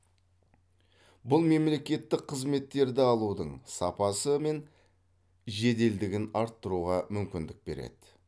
бұл мемлекеттік қызметтерді алудың сапасы мен жеделдігін арттыруға мүмкіндік береді